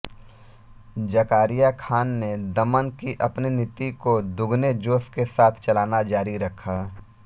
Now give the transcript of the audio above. ज़कारिया खान ने दमन की अपनी नीति को दुगने जोश के साथ चलाना जारी रखा